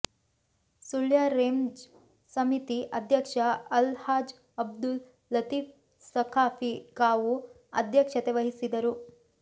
Sullia range ಸಮಿತಿ ಅಧ್ಯಕ್ಷ ಅಲ್ ಹಾಜ್ ಅಬ್ದುಲ್ ಲತೀಫ್ ಸಖಾಫಿ ಕಾವು ಅಧ್ಯಕ್ಷತೆ ವಹಿಸಿದರು